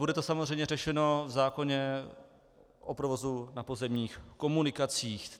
Bude to samozřejmě řešeno v zákoně o provozu na pozemních komunikacích.